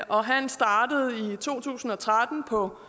og han startede i to tusind og tretten på